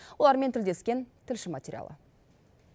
олармен тілдескен тілші материалы